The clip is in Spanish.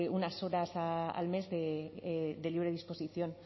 unas horas al mes de libre disposición